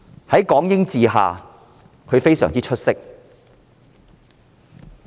在港英治下，她非常出色。